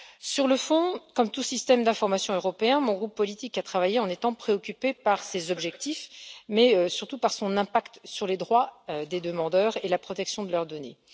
Sur le fond, comme tout système d'information européen, mon groupe politique a travaillé en étant préoccupé par ces objectifs, mais surtout par son impact sur les droits des demandeurs et la protection de leurs données.